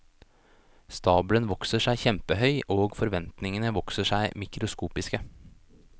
Stabelen vokser seg kjempehøy, og forventningene vokser seg mikroskopiske.